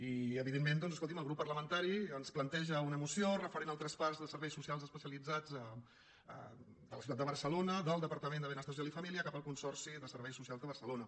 i evidentment doncs escolti’m el grup parlamentari ens planteja una moció referent al traspàs de serveis socials especia·litzats de la ciutat de barcelona del departament de benestar social i família cap al consorci de serveis socials de barcelona